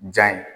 Ja ye